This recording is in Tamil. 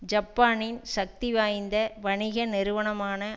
ஜப்பானின் சக்தி வாய்ந்த வணிக நிறுவனமான